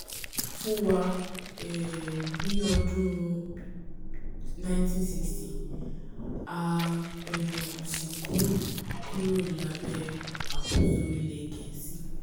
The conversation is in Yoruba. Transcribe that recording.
fún wa um ní ọdún un nineteen sixty a um sì kúrò kúrò lábẹ́ àkóso ilẹ̀ gẹ̀ẹ́sì